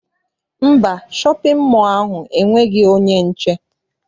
Mba, shọpịn mọọ ahụ enweghị onye nche.